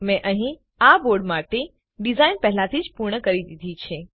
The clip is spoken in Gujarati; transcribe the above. મેં અહીં આ બોર્ડ માટે ડીઝાઈન પહેલાથી જ પૂર્ણ કરી દીધી છે